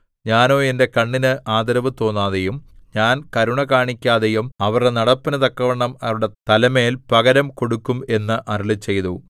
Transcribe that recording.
ഞാനോ എന്റെ കണ്ണിന് ആദരവ് തോന്നാതെയും ഞാൻ കരുണ കാണിക്കാതെയും അവരുടെ നടപ്പിനു തക്കവണ്ണം അവരുടെ തലമേൽ പകരം കൊടുക്കും എന്ന് അരുളിച്ചെയ്തു